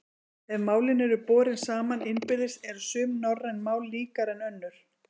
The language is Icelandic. Ef málin eru borin saman innbyrðis eru sum norræn mál líkari en önnur.